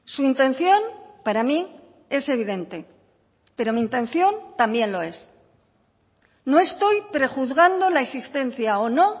su intención para mí es evidente pero mi intención también lo es no estoy prejuzgando la existencia o no